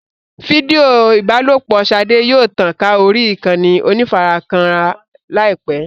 Fídíò ìbálòpọ̀ Ṣadé yóò tàn ká orí ìkànnì onífarakínra láìpẹ́.